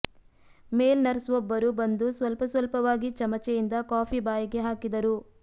ಮೇಲ್ ನರ್ಸ್ವೊಬ್ಬರು ಬಂದು ಸ್ವಲ್ಪ ಸ್ವಲ್ಪವಾಗಿ ಚಮಚೆಯಿಂದ ಕಾಫಿ ಬಾಯಿಗೆ ಹಾಕಿದರು